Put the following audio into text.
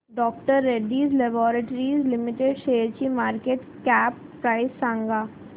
डॉ Reddy's laboratories limited शेअरची market cap price सांगा